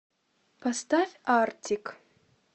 поставь артик